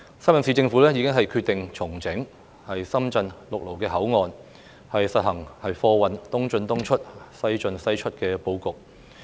深圳市政府已決定重整深圳陸路口岸，實行貨運"東進東出，西進西出"的布局。